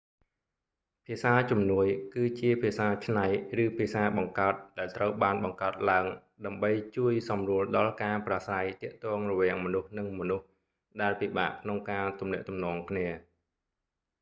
ភាសាជំនួយ auxiliary languages គឺជាភាសាច្នៃ ឬភាសាបង្កើតដែលត្រូវបានបង្កើតឡើងដើម្បីជួយសម្រួលដល់ការប្រាស្រ័យទាក់ទងរវាងមនុស្សនិងមនុស្សដែលពិបាកក្នុងការទំនាក់ទំនងគ្នា